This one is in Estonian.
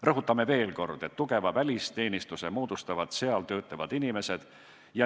Rõhutame veel kord, et tugeva välisteenistuse moodustavad seal töötavad inimesed.